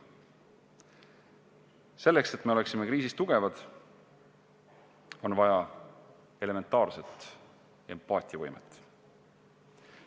Selleks, et me oleksime kriisis tugevad, on vaja elementaarset empaatiavõimet.